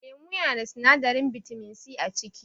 Lemo yanada sinadarin bitaminsi a ciki